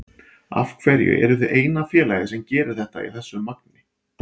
Af hverju eruð þið eina félagið sem gerir þetta í þessu magni?